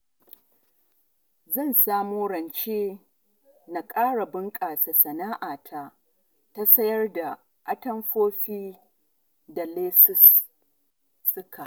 Zan samo rance na ƙara bunƙasa sana'ata ta sayar da atamfofi da lesuka